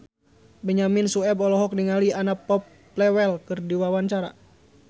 Benyamin Sueb olohok ningali Anna Popplewell keur diwawancara